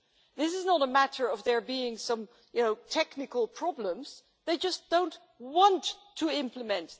This is not a matter of there being some technical problems, they just don't want to implement.